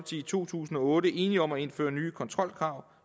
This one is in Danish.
i to tusind og otte enige om at indføre nye kontrolkrav